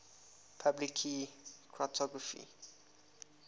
public key cryptography